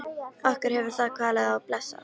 Okkur hefur það kvalið og blessað.